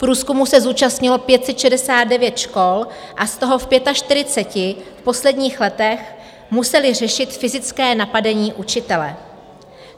Průzkumu se zúčastnilo 569 škol a z toho v 45 v posledních letech museli řešit fyzické napadení učitele.